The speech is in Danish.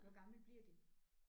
Hvor gamle bliver de?